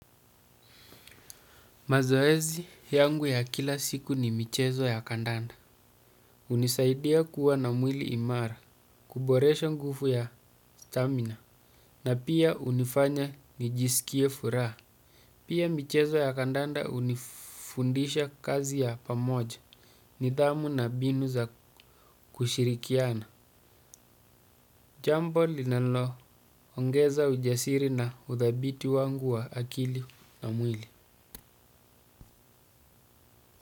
Mazoezi yangu ya kila siku ni michezo ya kandanda. Unisaidia kuwa na mwili imara, kuboresha nguvu ya stamina, na pia unifanya nijisikie furaha. Pia michezo ya kandanda unifundisha kazi ya pamoja, nidhamu na binu za kushirikiana. Jambo linalo ongeza ujasiri na uthabiti wangu wa mwili na akili.